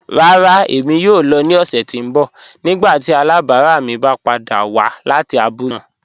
Rárá, ẹ̀mi yóò lọ̀ ni ọ̀ṣẹ̀ tí n bọ̀ nígbàtí alábarà mi bá pàdà wà láti àbúlẹ̀ náà.